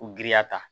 U giriya ta